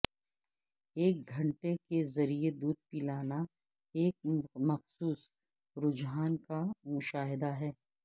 ایک گھنٹہ کے ذریعہ دودھ پلانا ایک مخصوص رجحان کا مشاہدہ ہے